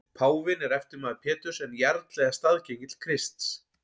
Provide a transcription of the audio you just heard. Páfinn er eftirmaður Péturs en jarl eða staðgengill Krists.